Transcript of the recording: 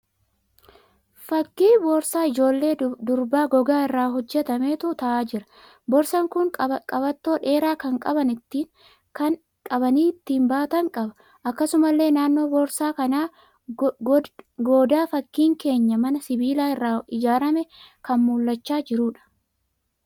Fakkii boorsaa ijoollee durbaa gogaa irraa hojjetametu ta'aa jira. Boorsaan kun qabattoo dheeraa kan qabanii ittin baatan qaba. Akkasumallee naannoo boorsaa kanaan goodaa fakkiin keenyan manaa sibiila irraa ijaarame kan mul'achaa jiruudha.